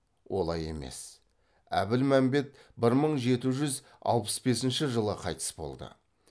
олай емес әбілмәмбет бір мың жеті жүз алпыс бесінші жылы қайтыс болды